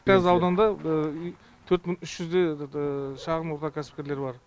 қазір ауданда төрт мың үш жүздей шағын орта кәсіпкерлер бар